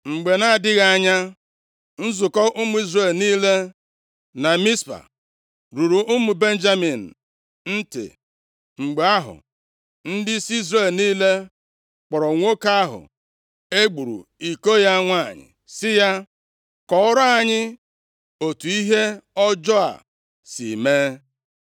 Mgbe na-adịghị anya, nzukọ ụmụ Izrel niile na Mizpa ruru ụmụ Benjamin ntị. Mgbe ahụ, ndịisi Izrel niile kpọrọ nwoke ahụ e gburu iko ya nwanyị sị ya, “Kọọrọ anyị otu ihe ọjọọ a si mee.”